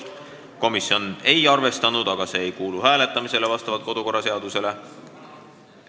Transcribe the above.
Komisjon ei ole seda arvestanud, aga vastavalt kodukorraseadusele ei kuulu see hääletamisele.